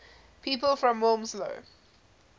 people from wilmslow